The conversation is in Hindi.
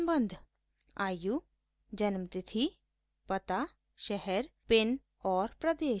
आयु